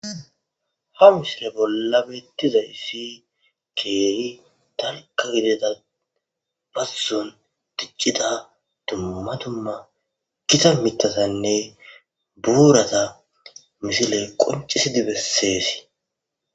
Ha misile bolla betezaysi kehi dalga gidida bazon dicida duma duma gitta mithane burata misile qoncisi beses